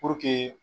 Puruke